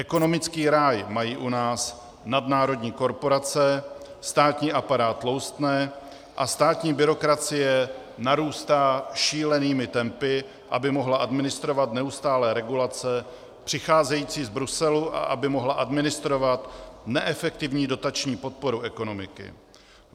Ekonomický ráj mají u nás nadnárodní korporace, státní aparát tloustne a státní byrokracie narůstá šílenými tempy, aby mohla administrovat neustálé regulace přicházející z Bruselu a aby mohla administrovat neefektivní dotační podporu ekonomiky.